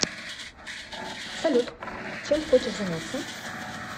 салют чем хочешь заняться